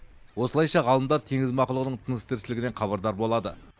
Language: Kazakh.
осылайша ғалымдар теңіз мақұлығының тыныс тіршілігінен хабардар болады